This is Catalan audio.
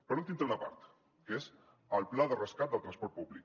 per últim té una part que és el pla de rescat del transport públic